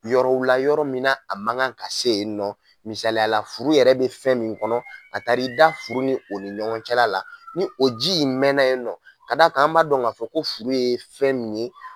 Yɔrɔw la yɔrɔ min na a man kan ka se yen nɔ misaliya la furu yɛrɛ bɛ fɛn min kɔnɔ a taa i da furu ni o ni ɲɔgɔn cɛla la ni o ji in mɛnna yen nɔ k'a d'a kan an b'a dɔn ka fɔ ko furu ye fɛn min ye.